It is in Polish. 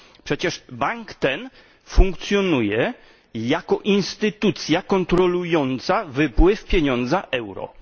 Przecież bank ten funkcjonuje jako instytucja kontrolująca wypływ pieniądza euro.